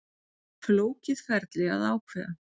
Flókið ferli að ákveða